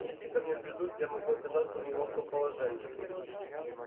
и если ко мне придут я могу оказаться в неловком положении